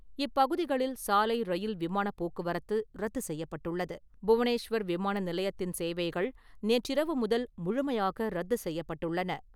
இப் பகுதிகளில் சாலை, ரயில், விமான போக்குவரத்து ரத்து செய்யப்பட்டுள்ளது. புவனேஸ்வர் விமான நிலையத்தின் சேவைகள் நேற்றிரவு முதல் முழுமையாக ரத்து செய்யப்பட்டுள்ளன.